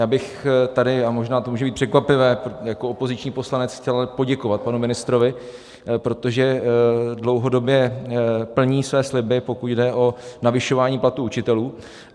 Já bych tady, a možná to může být překvapivé, jako opoziční poslanec chtěl poděkovat panu ministrovi, protože dlouhodobě plní své sliby, pokud jde o navyšování platů učitelů.